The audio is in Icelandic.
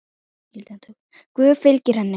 Guð fylgi henni.